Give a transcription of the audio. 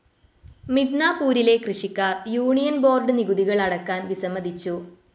മിഡ്നാപ്പൂരിലെ കൃഷിക്കാർ union board നികുതികൾ അടക്കാൻ വിസമ്മതിച്ചു.